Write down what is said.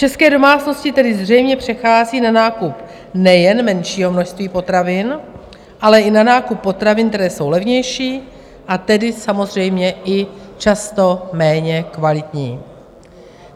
České domácnosti tedy zřejmě přecházejí na nákup nejen menšího množství potravin, ale i na nákup potravin, které jsou levnější, a tedy samozřejmě i často méně kvalitní.